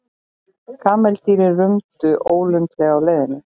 Kameldýrin rumdu ólundarlega á leiðinni.